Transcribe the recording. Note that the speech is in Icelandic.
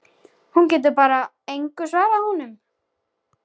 En hún getur bara engu svarað honum.